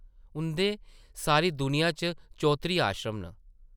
उंʼदे सारी दुनिया च चौत्तरी आश्रम न ।